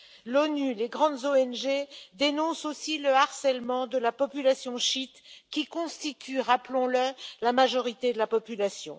L'ONU et les grandes ONG dénoncent aussi le harcèlement de la population chiite, qui constitue, rappelons le, la majorité de la population.